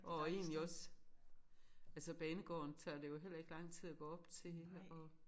Og egentlig også altså banegården tager det jo heller ikke lang tid at gå op til og